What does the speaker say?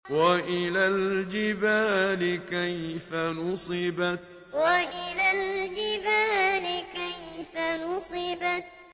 وَإِلَى الْجِبَالِ كَيْفَ نُصِبَتْ وَإِلَى الْجِبَالِ كَيْفَ نُصِبَتْ